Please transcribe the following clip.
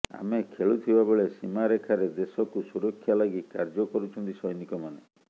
ଆମେ ଖେଳୁଥିବା ବେଳେ ସୀମାରେଖାରେ ଦେଶକୁ ସୁରକ୍ଷା ଲାଗି କାର୍ଯ୍ୟ କରୁଛନ୍ତି ସ୘ନିକମାନେ